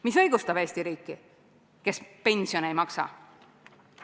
Mis õigustab Eesti riiki, kes pensione ei maksa?